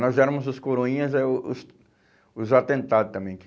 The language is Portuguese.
Nós éramos os coroinhas, aí o os os atentados também.